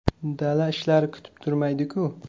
Dala ishlari kutib turmaydi-ku.